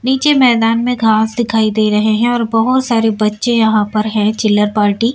नीचे मैदान में घांस दिखाई दे रहे हैं और बहुत सारे बच्चे यहां पर हैं चिल्लर पार्टी --